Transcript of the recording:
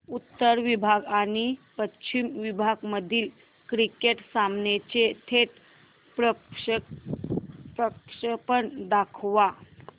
उत्तर विभाग आणि पश्चिम विभाग मधील क्रिकेट सामन्याचे थेट प्रक्षेपण दाखवा